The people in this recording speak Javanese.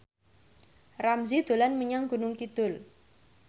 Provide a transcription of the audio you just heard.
Ramzy dolan menyang Gunung Kidul